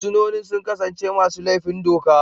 Fursunonin sun kasance masu laifin doka.